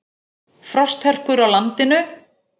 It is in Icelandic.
Frosthörkur á landinu